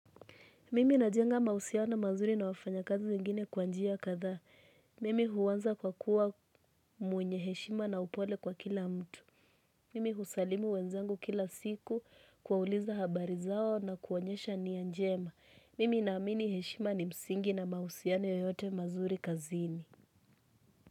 Mimi na jenga mahusiano mazuri na wafanya kazi zingine kwa njia katha. Mimi huwanza kwa kuwa mwenye heshima na upole kwa kila mtu. Mimi husalimu wenzangu kila siku kuwauliza habari zao na kuonyesha nia njema. Mimi na amini heshima ni msingi na mahusiano yoyote mazuri kazini.